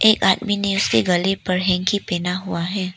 एक आदमी ने उसके गले पर हैंकी पहना हुआ है।